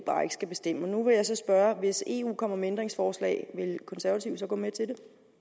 skal bestemme nu vil jeg så spørge hvis eu kommer med ændringsforslag vil konservative så gå med til